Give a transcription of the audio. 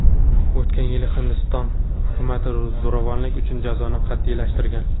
O‘tgan yili Hindiston hukumati zo‘ravonlik uchun jazoni qat’iylashtirgan.